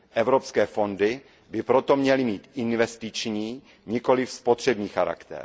Evropské fondy by proto měly mít investiční, nikoliv spotřební povahu.